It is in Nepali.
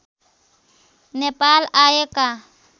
नेपाल आएका